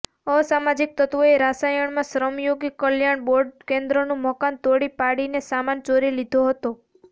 અસામાજિક તત્વોએ રાયસણમાં શ્રમયોગી કલ્યાણ બોર્ડના કેન્દ્રનું મકાન તોડી પાડીને સામાન ચોરી લીધો હતો